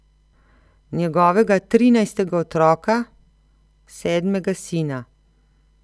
Njegovega trinajstega otroka, sedmega sina.